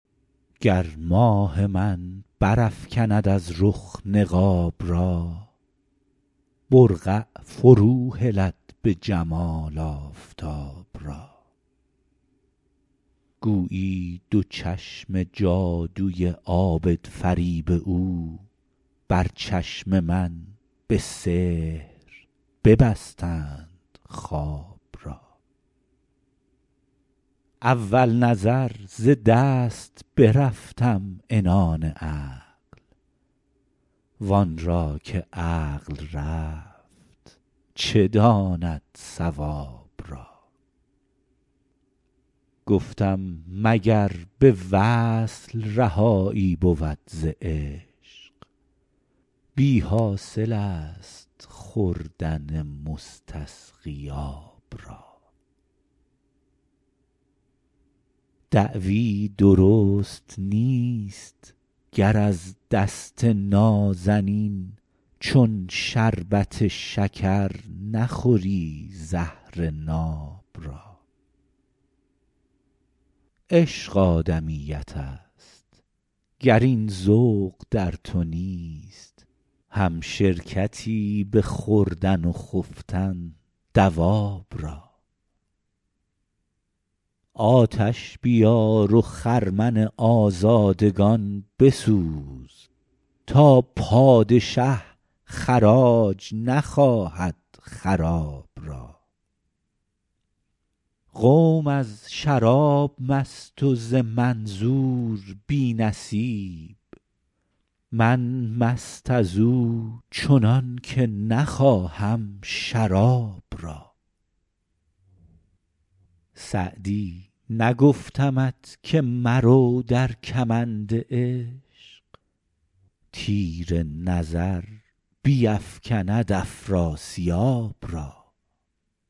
گر ماه من برافکند از رخ نقاب را برقع فروهلد به جمال آفتاب را گویی دو چشم جادوی عابدفریب او بر چشم من به سحر ببستند خواب را اول نظر ز دست برفتم عنان عقل وان را که عقل رفت چه داند صواب را گفتم مگر به وصل رهایی بود ز عشق بی حاصل است خوردن مستسقی آب را دعوی درست نیست گر از دست نازنین چون شربت شکر نخوری زهر ناب را عشق آدمیت است گر این ذوق در تو نیست همشرکتی به خوردن و خفتن دواب را آتش بیار و خرمن آزادگان بسوز تا پادشه خراج نخواهد خراب را قوم از شراب مست و ز منظور بی نصیب من مست از او چنان که نخواهم شراب را سعدی نگفتمت که مرو در کمند عشق تیر نظر بیفکند افراسیاب را